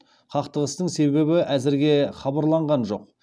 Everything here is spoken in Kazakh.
қақтығыстың себебі әзірге хабарланған жоқ